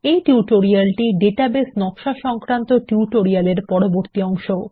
এই টিউটোরিয়ালটি ডাটাবেস নকশা সংক্রান্ত টিউটোরিয়াল এর পরবর্তী অংশ